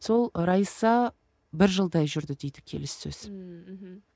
сол раиса бір жылдай жүрді дейді келіссөз ммм мхм